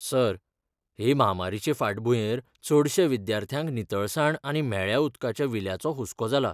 Sir, हे म्हामारीचे फांटभूंयेर चडश्या विद्यार्थ्यांक नितळसाण आनी म्हेळ्या उदकाच्या विल्याचो हुस्को जाला.